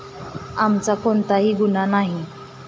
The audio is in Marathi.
आमचा कोणताही गुन्हा नाही.